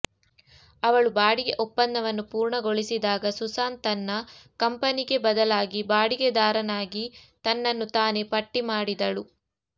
ಅವಳು ಬಾಡಿಗೆ ಒಪ್ಪಂದವನ್ನು ಪೂರ್ಣಗೊಳಿಸಿದಾಗ ಸುಸಾನ್ ತನ್ನ ಕಂಪನಿಗೆ ಬದಲಾಗಿ ಬಾಡಿಗೆದಾರನಾಗಿ ತನ್ನನ್ನು ತಾನೇ ಪಟ್ಟಿಮಾಡಿದಳು